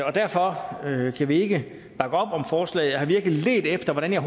og derfor kan vi ikke bakke op om forslaget jeg har virkelig ledt efter hvordan jeg